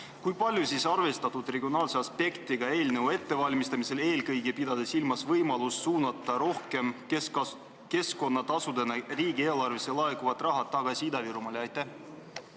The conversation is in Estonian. Kui palju on siis arvestatud regionaalse aspektiga eelnõu ettevalmistamisel, pidades eelkõige silmas võimalust suunata keskkonnatasudena riigieelarvesse laekuvat raha rohkem Ida-Virumaale tagasi?